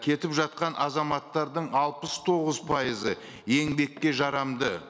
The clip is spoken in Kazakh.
кетіп жатқан азаматтардың алпыс тоғыз пайызы еңбекке жарамды